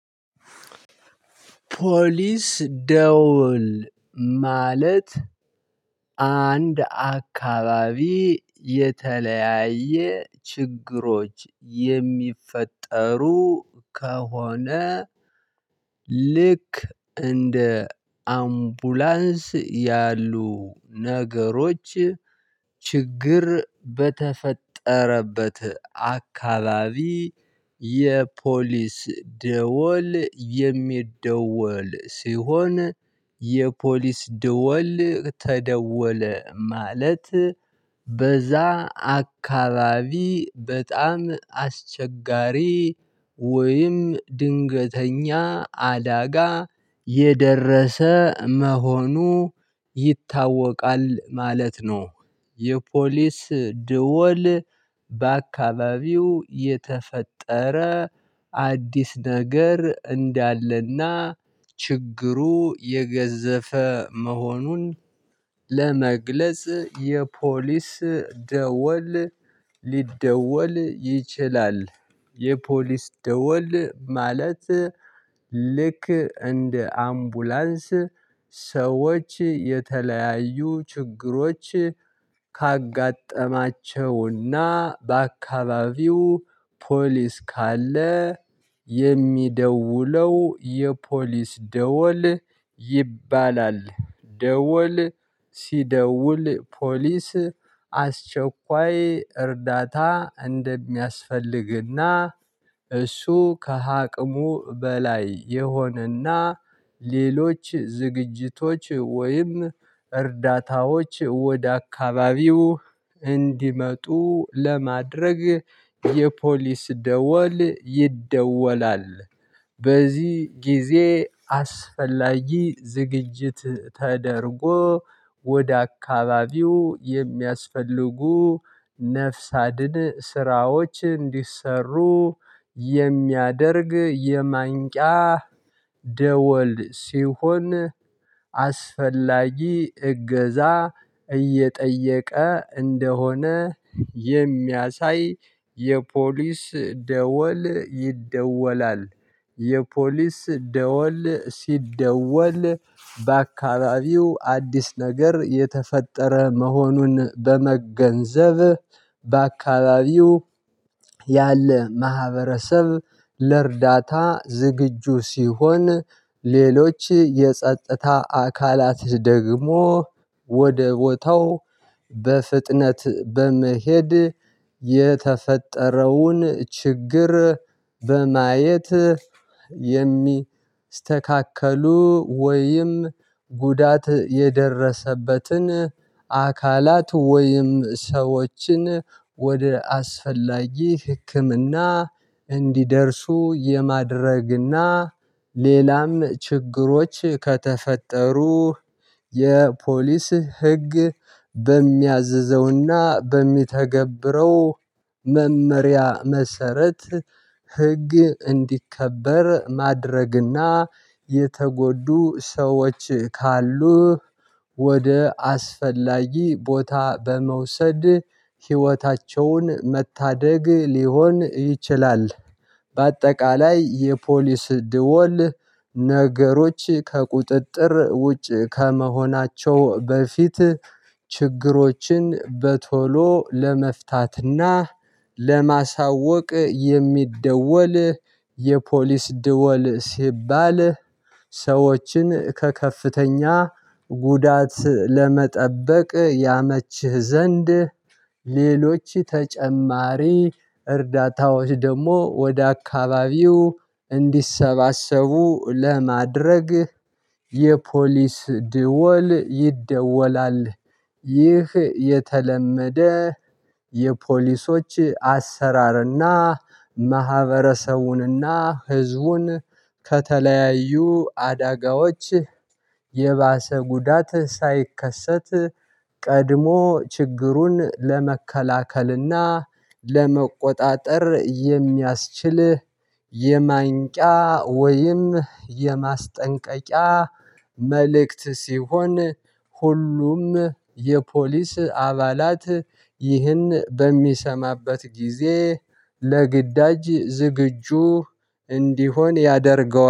ፖሊስ ደውል ማለት አንድ አካባቢ የተለያየ ችግሮች የሚፈጠሩ ከሆነ ልክ እንደ አንቡላንስ ያሉ ነገሮች ችግር በተፈጠረበት አካባቢ የፖሊስ ደወል የሚደወል ሲሆን የፖሊስ ደወል ተደወለ ማለት በዛ አካባቢ በጣም አስቸጋሪ ወይም ድንገተኛ አደጋ የደረሰ መሆኑ ይታወቃል ማለት ነው። የፖሊስ ደውል በአካባቢው የተፈጠረ አዲስ ነገር እንዳለና ችግሩ የገዘፈ መሆኑን ለመግለጽ የፖሊስ ደወል ሊደወል ይችላል። የፖሊስ ደወል ማለት ልክ እንደ አንቡላንስ ሰዎች የተለያዩ ችግሮች ካጋጠማቸውና በአካባቢው ፖሊስ ካለ የሚደውለው የፖሊስ ደወል ይባላል ደወል ሲደውል ፖሊስ አስቸኳይ እርዳታ እንደሚያስፈልግና እሱ ከአቅሙ በላይ የሆነና ሌሎች ዝግጅቶች ወይም እርዳታዎች ወደ አካባቢው እንዲመጡ ለማድረግ የፖሊስ ደወል ይደወላል። በዚህ ጊዜ አስፈላጊ ዝግጅት ተደርጎ ወደ አካባቢው የሚያስፈልጉ ነፍስ አድን ስራዎች እንዲሰሩ የሚያደርግ የማንቂያ ደወል ሲሆን አስፈላጊ እገዛ እየጠየቀ እንደሆነ የሚያሳይ የፖሊስ ደወል ይደወላል። የፖሊስ ደወል ሲደወል በአካባቢው አዲስ ነገር የተፈጠረ መሆኑን በመገንዘብ በአካባቢው ያለ ማህበረሰብ ለእርዳታ ዝግጁ ሲሆን ሌሎች የጸጥታ አካላት ደግሞ ወደ ቦታው በፍጥነት በመሄድ የተፈጠረውን ችግር በማየት የሚስተካከሉ ወይም ጉዳት የደረሰበትን አካላት ወይም ሰዎችን ወደ አስፈላጊ ህክምና እንዲደርሱ የማድረግና ሌላም ችግሮች ከተፈጠሩ የፖሊስ ህግ በሚያዝዘውና በሚተገብረው መመሪያ መሰረት ህግ እንዲከበር ማድረግና የተጎዱ ሰዎች ካሉ ወደ አስፈላጊ ቦታ በመውሰድ ህይወታቸውን መታደግ ሊሆን ይችላል። በአጠቃላይ የፖሊስ ድወል ነገሮች ከቁጥጥር ውጭ ከመሆናቸው በፊት ችግሮችን በቶሎ ለመፍታትና ለማሳወቅ የሚደወል የፖሊስ ድወል ሲባል ሰዎችን ከከፍተኛ ጉዳት ለመጠበቅ ያመችህ ዘንድ ሌሎች ተጨማሪ እርዳታዎች ደግሞ ወደ አካባቢው እንዲሰባሰቡ ለማድረግ የፖሊስ ደወል ይደወላል። ይህ የተለመደ የፖሊሶች አሰራርና ማህበረሰቡንና ህዝቡን ከተለያዩ አዳጋዎች የባሰ ጉዳት ሳይከሰት ቀድሞ ችግሩን ለመከላከልና ለመቆጣጠር የሚያስችል የማንቂያ ወይም የማስጠንቀቂያ መልእክት ሲሆን ሁሉም የፖሊስ አባላት ይህን በሚሰማበት ጊዜ ለግዳጅ ዝግጁ እንዲሆን ያደርገዋል